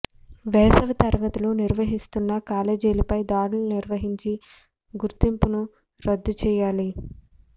వేసవి తరగతులు నిర్వహిస్తున్న కాలేజీలపై దాడులు నిర్వహించి గుర్తింపును రద్దు చేయాలి